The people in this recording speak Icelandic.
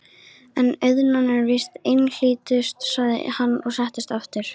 En auðnan er víst einhlítust, sagði hann og settist aftur.